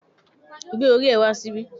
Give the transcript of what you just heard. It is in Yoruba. Gbé orí ẹ wá síbí